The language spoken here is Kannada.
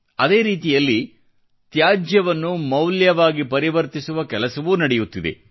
ಅದೇ ರೀತಿಯಲ್ಲಿ ತ್ಯಾಜ್ಯವನ್ನು ಮೌಲ್ಯವಾಗಿ ಪರಿವರ್ತಿಸುವ ಕೆಲಸವೂ ನಡೆಯುತ್ತಿದೆ